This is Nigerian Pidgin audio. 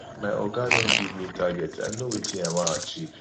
my oga don give me target i know wetin i wan achieve